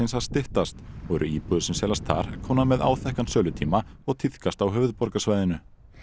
að styttast og eru íbúðir sem seljast þar komnar með áþekkan sölutíma og tíðkast á höfuðborgarsvæðinu